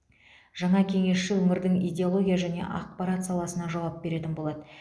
жаңа кеңесші өңірдің идеология және ақпарат саласына жауап беретін болады